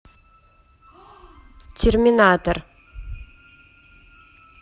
терминатор